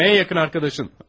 Sənin ən yaxın dostun.